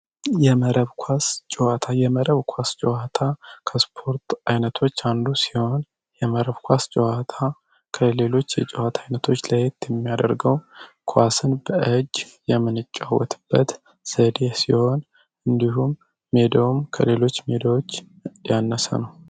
የመረብ ኳስ ጨዋታ የመረብ ኳስ ጨዋታ ከስፖርት አይነቶች አንዱ ሲሆን የመረብ ኳስ ጨዋታ ከሌሎች የጨዋታ አይነቶች ለየት የሚያደርገው ኳስን በእጂ የምንጫወትበት ዘዴ ሲሆን እንዲሁም ሜዳውም ከሌሎች ሜዳዎች ያነሰ ነው።